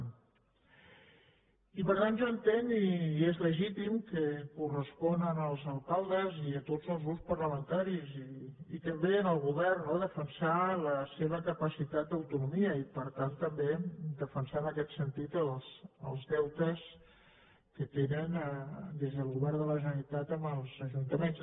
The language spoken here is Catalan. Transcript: i per tant jo entenc i és legítim que correspon als alcaldes i a tots els grups parlamentaris i també al govern no defensar la seva capacitat d’autonomia i per tant també defensar en aquest sentit els deutes que tenen des del govern de la generalitat amb els ajuntaments